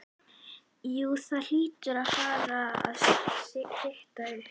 Jú það hlýtur að fara að stytta upp.